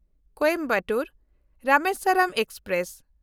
Coimbatore-Rameswaram express